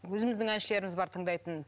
өзіміздің әншілеріміз бар тыңдайтын